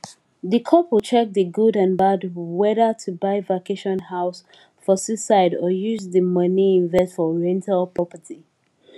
di couple check di good and bad whether to buy vacation house for seaside or use di money invest for rental property